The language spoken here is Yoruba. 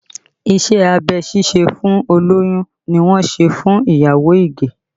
Iṣẹ́ abẹ ṣíṣe fún olóyún ni wọ́n ṣe fún ìyàwó Ige